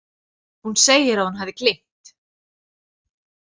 Hún segir að hún hafi gleymt.